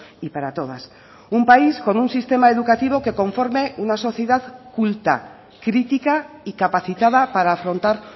y para todas un país con un sistema educativo que conforme una sociedad culta crítica y capacitada para afrontar